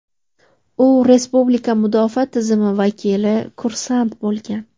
U respublika mudofaa tizimi vakili kursant bo‘lgan.